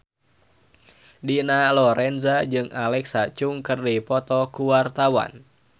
Dina Lorenza jeung Alexa Chung keur dipoto ku wartawan